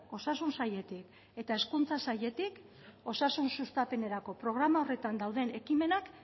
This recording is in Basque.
osasun sailetik eta hezkuntza sailetik osasun sustapenerako programa horretan dauden ekimenak